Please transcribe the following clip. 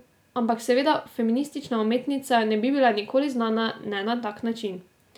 Ampak, seveda, feministična umetnica ne bi bila nikoli znana, ne na tak način.